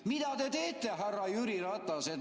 Mida te teete, härra Jüri Ratas, et ...